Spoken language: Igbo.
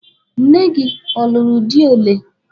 Nne gị ọ lụrụ di ole?